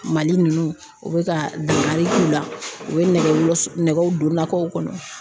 Mali nunnu u bɛ ka dankari k'u la , u bɛ nɛgɛ nɛgɛw don nakɔw kɔnɔ